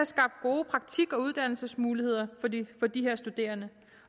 skabt gode praktik og uddannelsesmuligheder for de her studerende